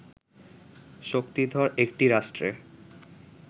শক্তিধর একটি রাষ্ট্রে